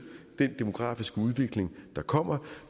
den demografiske udvikling der kommer